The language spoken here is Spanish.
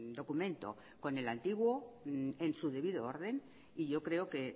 documento con el antiguo en su debido orden y yo creo que